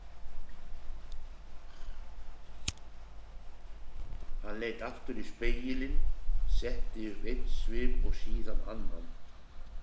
Hann leit aftur í spegilinn, setti upp einn svip og síðan annan.